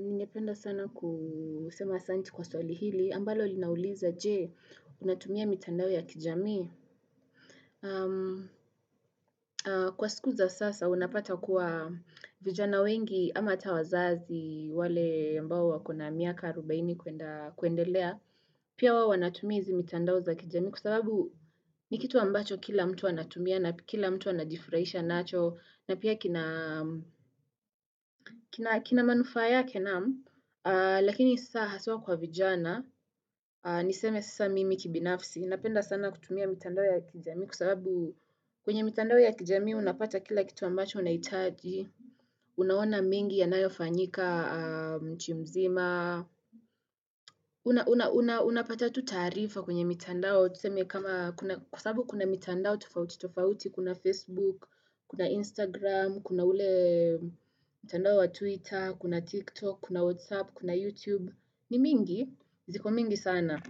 Ninependa sana kusema asanti kwa swali hili. Ambalo ulinauliza jee, unatumia mitandao ya kijami. Kwa siku za sasa, unapata kuwa vijana wengi ama ata wazazi wale mbao wakona miaka arobaini kuendelea. Pia wawo wanatumizi mitandao za kijamii kwa sababu nikitu ambacho kila mtu wanatumia na kila mtu wanadifraisha nacho. Na pia kina manufaa naamu, lakini sisa haswa kwa vijana, niseme sisa mimi kibinafsi, napenda sana kutumia mitandao ya kijami kusababu kwenye mitandao ya kijami unapata kila kitu ambacho unaitaji, unaona mingi ya nayofanyika chumzima, unapata tutaarifa kwenye mitandao, kwa tusemiye kama kusabu kuna mitandao tofauti tofauti, kuna Facebook, kuna Instagram, kuna ule mitandao wa Twitter, kuna TikTok, kuna WhatsApp, kuna YouTube, ni mingi, ziko mingi sana.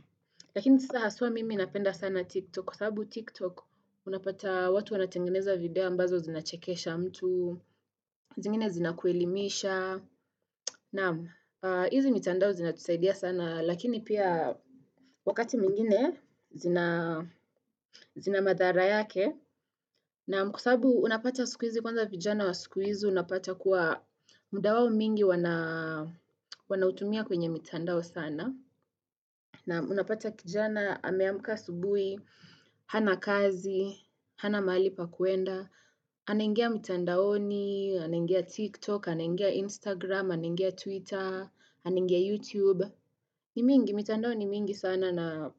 Lakini sasa haswa mimi napenda sana TikTok, kusabu TikTok, unapata watu wanatengeneza video ambazo zinachekesha mtu, zingine zinakuelimisha. Na hizi mitandao zinatusaidia sana lakini pia wakati mingine zinamadhara yake na mkosabu unapata siku izi kwanza vijana wa siku izi unapata kuwa muda wao mingi wanautumia kwenye mitandao sana na unapata kijana ameamuka asubui, hana kazi, hana mali pa kuenda anaingia mitandaoni, anaingia tiktok, anaingia instagram, anaingia twitter, anaingia youtube ni mingi mitandaoni mingi sana na.